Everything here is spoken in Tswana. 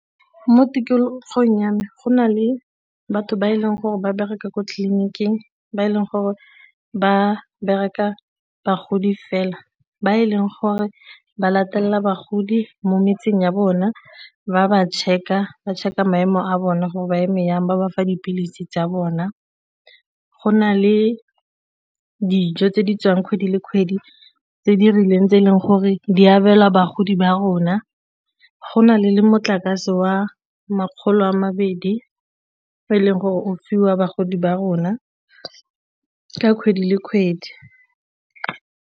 Mo tikologong ya me go na le batho ba e leng gore ba bereka ko tleliniking, ba e leng gore ba bereka bagodi fela, ba e leng gore ba latelela bagodi mo metseng ya bona ba ba check-a ba check-a maemo a bona gore ba eme jang ba bafa dipilisi tsa bona. Go na le dijo tse di tswang kgwedi le kgwedi tse di rileng tse e leng gore di abelwa bagodi ba rona go na le le motlakase wa makgolo a mabedi o e leng gore o fiwa bagodi ba rona ka kgwedi le kgwedi.